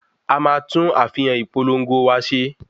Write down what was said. A máa tún àfihàn ìpolongo wa ṣe.